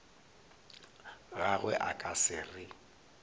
gagwe a ka se re